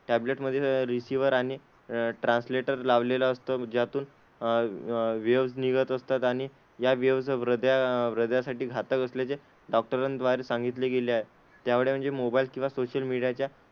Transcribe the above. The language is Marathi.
टॅबलेटमध्ये रिसिवर आणि ट्रान्सलेटर लावलेला असतो ज्यातून अह वेव्हज निघत असतात आणि या वेव्हज हृदया हृदयासाठी घातक असल्याचे डॉक्टरांद्वारे सांगितले गेले आहे, त्यामुळेच म्हणजे मोबाईल किंवा सोशल मीडियाच्या,